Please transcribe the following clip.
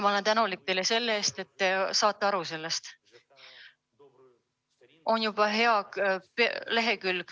Ma olen teile tänulik selle eest, et te sellest aru saate.